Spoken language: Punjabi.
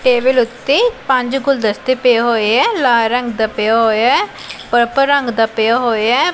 ਟੇਬਿਲ ਓੱਤੇ ਪੰਜ ਗੁਲਦਸਤੇ ਪਏ ਹੋਏ ਹੈ ਲਾਲ ਰੰਗ ਦਾ ਪਿਆ ਹੋਇਆ ਹੈ ਪਰਪਲ ਰੰਗ ਦਾ ਪਿਆ ਹੋਇਆ ਹੈ।